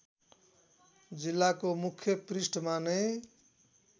जिल्लाको मुख्य पृष्ठमा नै